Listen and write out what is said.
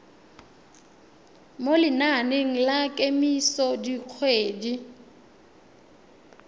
mo lenaneng la kemiso dikgwedi